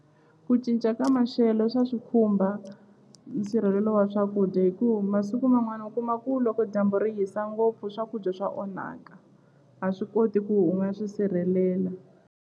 Ku cinca ka maxelo swa swikhumba nsirhelelo wa swakudya hi ku masiku man'wana u kuma ku loko dyambu ri hisa ngopfu swakudya swa onhaka a swi koti ku u nga swi sirhelela.